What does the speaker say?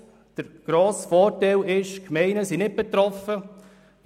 Und der grosse Vorteil ist, dass die Gemeinden nicht betroffen sind.